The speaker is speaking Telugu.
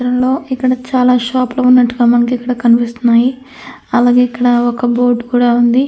ఈ చిత్రంగా ఇక్కడ చాలా షాపులుగా ఉన్నట్టుగా మనకి ఇక్కడ కనిపిస్తుంది. అలాగే ఇక్కడ ఒక బోర్డు కూడా ఉంది.